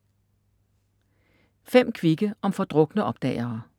5 kvikke om fordrukne opdagere